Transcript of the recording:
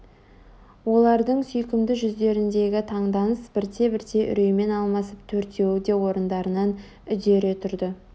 олардың сүйкімді жүздеріндегі таңданыс бірте-бірте үреймен алмасып төртеуі де орындарынан үдере тұрды